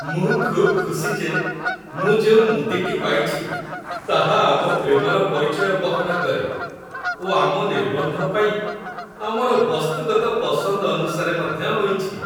ମୁଁ ଖୁବ୍ ଖୁସି ଯେ ମୁଁ ଯେଉଁ ମୁଦିଟି ପାଇଛି ତାହା ଆମ ପ୍ରେମର ପରିଚୟ ବହନ କରେ ଓ ଆମ ନିର୍ବନ୍ଧ ପାଇଁ ଆମର ବସ୍ତୁଗତ ପସନ୍ଦ ଅନୁସାରେ ମଧ୍ୟ ହୋଇଛି।